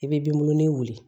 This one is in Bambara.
I bɛ dumuni wuli